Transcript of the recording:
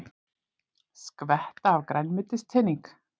Skvetta af grænmetiskrafti